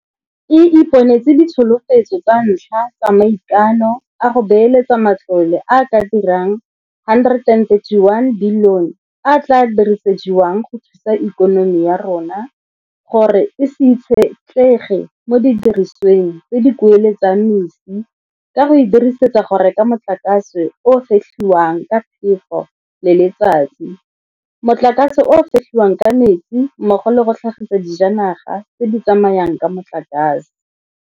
E iponetse ditsholofetso tsa ntlha tsa maikano a go beeletsa matlole a a ka dirang R131 bilione a a tla dirisediwang go thusa ikonomi ya rona gore e se itshetlege mo didirisiweng tse di kueletsang mesi ka go e dirisetsa go reka motlakase o o fetlhiwang ka phefo le letsatsi, motlakase o o fetlhiwang ka metsi mmogo le go tlhagisa dijanaga tse di tsamayang ka motlakase.